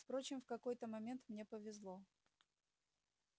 впрочем в какой-то момент мне повезло